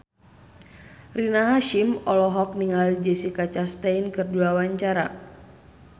Rina Hasyim olohok ningali Jessica Chastain keur diwawancara